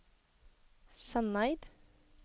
Sandeid